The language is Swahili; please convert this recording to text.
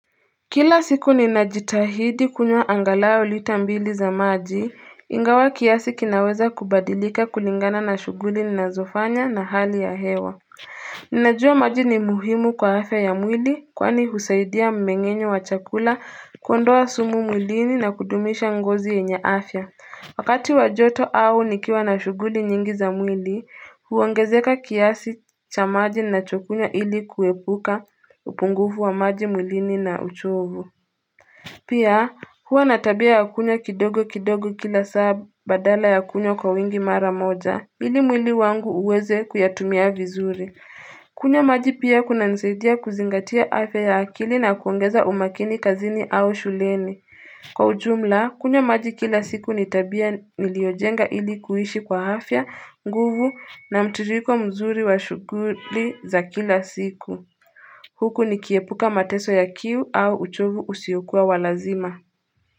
Kila siku ninajitahidi kunwa angalaua ulita mbili za maji, ingawa kiasi kinaweza kubadilika kulingana na shuguli na zofanya na hali ya hewa. Ninajua maji ni muhimu kwa afya ya mwili kwani husaidia mmengenyo wa chakula kuondoa sumu mwilini na kudumisha ngozi yenye afya. Wakati wajoto au nikiwa na shuguli nyingi za mwili, huwangezeka kiasi cha maji nachokunyo ili kuepuka upungufu wa maji mwilini na uchovu. Pia huwa na tabia ya kunywa kidogo kidogo kila saa badala ya kunywa kwa wingi mara moja, ili mwili wangu uweze kuyatumia vizuri. Kunywa maji pia kunanisaidia kuzingatia afya akili na kuongeza umakini kazini au shuleni. Kwa ujumla, kunya maji kila siku ni tabia niliojenga ilikuishi kwa afya, nguvu na mtiritiko mzuri wa shuguli za kila siku. Huku nikiepuka mateso ya kiu au uchovu usiukua walazima.